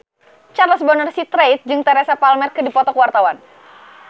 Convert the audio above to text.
Charles Bonar Sirait jeung Teresa Palmer keur dipoto ku wartawan